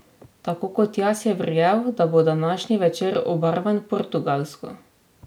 Tako kot jaz je verjel, da bo današnji večer obarvan portugalsko!